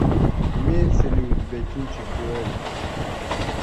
имеется ли у тебя кинчик дуэль